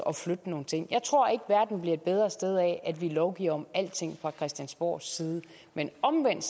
at flytte nogle ting jeg tror ikke verden bliver et bedre sted af at vi lovgiver om alting fra christiansborgs side men omvendt